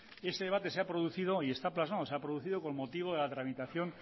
este debate se ha producido y está plasmado se ha producido con motivo de la tramitación